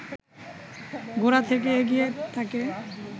গোড়া থেকেই এগিয়ে থাকে